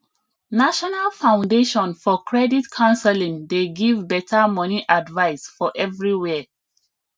national foundation for credit counseling dey give better money advice for everywhere